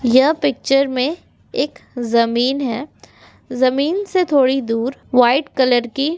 ये पिक्चर में एक जमीन हैं जमीन से थोड़ी दूर व्हाइट कलर की --